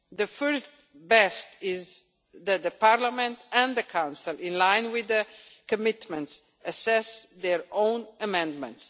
The first best is that Parliament and the Council, in line with the commitments, assess their own amendments.